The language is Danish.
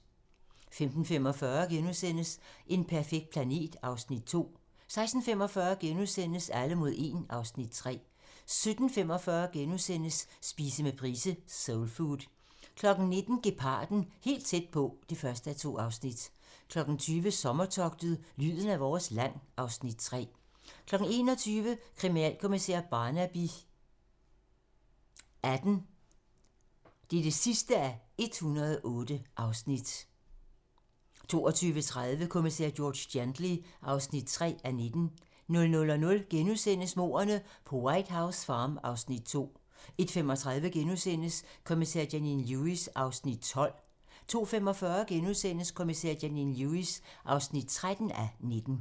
15:45: En perfekt planet (Afs. 2)* 16:45: Alle mod 1 (Afs. 3)* 17:45: Spise med Price - Soulfood * 19:00: Geparden - helt tæt på (1:2) 20:00: Sommertogtet - lyden af vores land (Afs. 3) 21:00: Kriminalkommissær Barnaby XVIII (108:108) 22:30: Kommissær George Gently (3:19) 00:00: Mordene på White House Farm (Afs. 2)* 01:35: Kommissær Janine Lewis (12:19)* 02:45: Kommissær Janine Lewis (13:19)*